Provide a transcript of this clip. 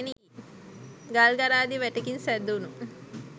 ගල් ගරාදි වැටකින් සෑදුනු